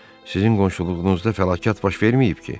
Sizin qonşuluğunuzda fəlakət baş verməyib ki?